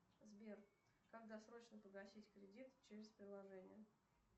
сбер как досрочно погасить кредит через приложение